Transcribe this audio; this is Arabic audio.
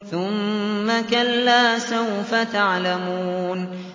ثُمَّ كَلَّا سَوْفَ تَعْلَمُونَ